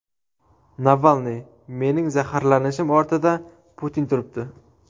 Navalniy: Mening zaharlanishim ortida Putin turibdi.